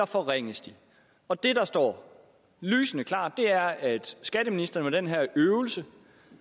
forringes og det der står lysende klart er at skatteministeren med den her øvelse